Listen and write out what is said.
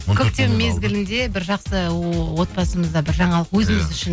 көктем мезгілінде бір жақсы отбасымызда бір жаңалық өзіміз үшін